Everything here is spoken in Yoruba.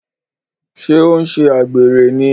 Ṣé ọ n ṣe àgbèrè ní?